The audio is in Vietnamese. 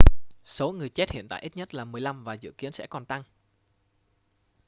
số người chết hiện tại ít nhất là 15 và dự kiến sẽ còn tăng